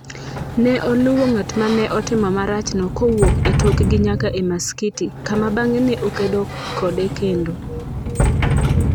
Ne oluwo ng’at ma ne otimo marachno kowuok e tokgi nyaka e maskiti, kama bang’e ne okedo kode kendo.